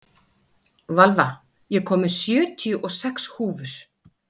Valva, ég kom með sjötíu og sex húfur!